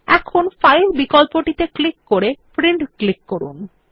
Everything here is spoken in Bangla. এখন ফাইল বিকল্পটি ক্লিক করে প্রিন্ট ক্লিক করুন